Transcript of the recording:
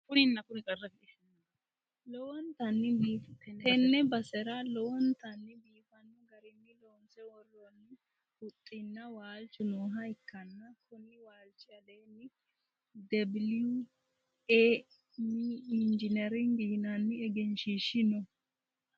Tenne basera lowontanni biifanno garinni loonse worroonni huxxinna waalchu nooha ikkanna, konni waalchi aleenni debiliwu e mi injinering yinanni egenshiishshi no.